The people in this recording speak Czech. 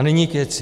A nyní k věci.